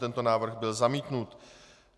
Tento návrh byl zamítnut.